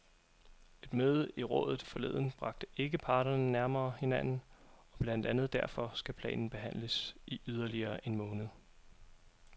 Et møde i rådet forleden bragte ikke parterne nærmere hinanden, og blandt andet derfor skal planen behandles i yderligere en måned.